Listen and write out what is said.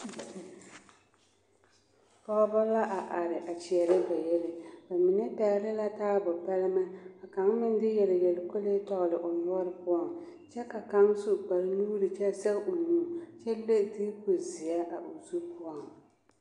pɔgba la are a kyɛrɛ ba yelli ba mine pɛle la taabo pɛlmɛ ka kang meŋ de yeliyeli kolee tɔŋle o noɔre poɔ kyɛ ka kang su kpare nuri kyɛ sege o nuri kyɛ leŋ doku ziɛ o zu poɔ.